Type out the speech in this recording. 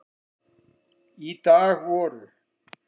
Í dag voru